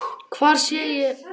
Hvar sé ég mig eftir fimm ár?